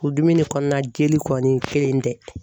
Furudimi ni kɔnɔnajeli kɔni kelen tɛ.